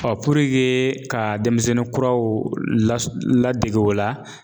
ka denmisɛnnin kuraw la ladege o la